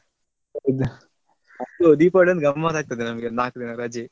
ಹೌದು ದೀಪಾವಳಿ ಒಂದು ಗಮ್ಮತ್ ಆಗ್ತದೆ ನಮ್ಗೆ ನಾಕು ದಿನ ರಜೆ.